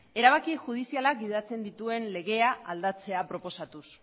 erabaki judizialak gidatzen dituen legea aldatzea proposatuz